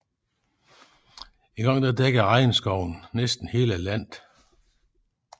Engang dækkede regnskoven næsten hele landet